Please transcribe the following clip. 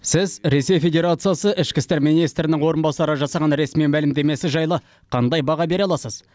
сіз ресей федерациясы ішкі істер министрінің орынбасары жасаған ресми мәлімдемесі жайлы қандай баға бере аласыз